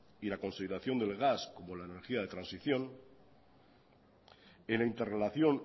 y la consideración del gas como la energía de transición en la interrelación